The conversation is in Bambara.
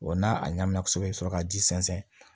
Wa n'a ɲagamina kosɛbɛ i bɛ sɔrɔ ka ji sɛnsɛn